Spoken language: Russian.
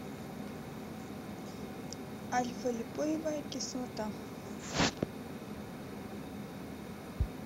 альфа липоевая кислота